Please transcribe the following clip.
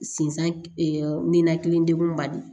Sinsan ninakili degunba de do